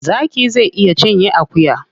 Zaki zai iya cinye akuya.